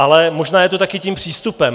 Ale možná je to také tím přístupem.